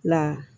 Na